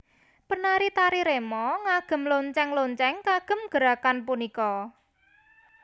Penari tari remo ngagem lonceng lonceng kagem gerakan punika